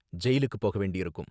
ஜெயிலுக்கு போக வேண்டியிருக்கும்